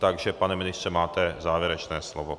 Takže pane ministře, máte závěrečné slovo.